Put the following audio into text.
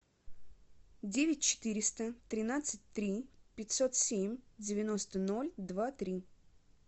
девять четыреста тринадцать три пятьсот семь девяносто ноль два три